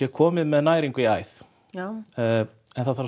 komið með næringu í æð en það þarf